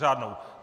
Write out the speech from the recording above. Řádnou.